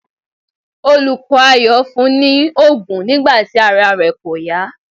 Olùkọ́ Ayọ̀ fún un ní òògùn nígbà tí ara rẹ kò yá.